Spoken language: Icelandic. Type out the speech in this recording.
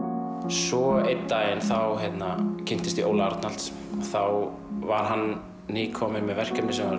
svo einn daginn þá kynntist ég Óla Arnalds þá var hann kominn með verkefni sem var